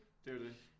Det er jo det